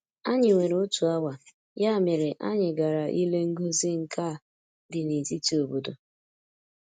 Anyị nwere otu awa, ya mere anyị gara ile ngosi nka dị na-etiti obodo.